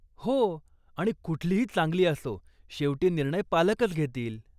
हो, आणि कुठलीही चांगली असो, शेवटी निर्णय पालकच घेतील.